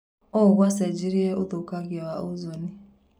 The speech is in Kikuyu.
ũũ gũcenjirie ũthũkangia wa ozoni.